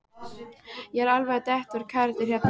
Ég er alveg að detta úr karakter hérna.